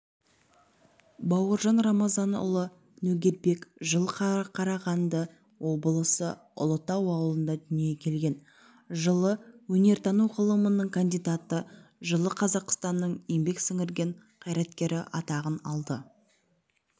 бауыржан рамазанұлы нөгербек жылы қарағанды облысы ұлытау ауылында дүниеге келген жылы өнертану ғылымының кандидаты жылы қазақстанның еңбек сіңірген қайраткері атағын алды